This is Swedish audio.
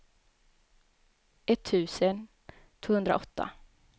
etttusen tvåhundraåtta